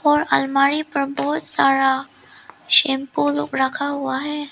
और आलमारी पर बहोत सारा शैंपू रु रखा हुआ है।